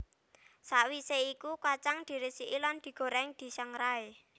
Sawisé iku kacang diresiki lan digoreng disangrai